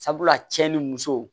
Sabula cɛ ni muso